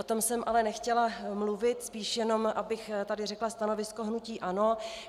O tom jsem ale nechtěla mluvit, spíš jenom abych tady řekla stanovisko hnutí ANO.